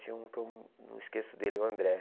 Tinha um que eu não esqueço dele, o André.